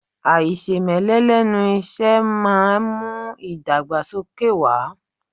Aisemele lẹ́nu isẹ máa ń mú idagbasoke wá.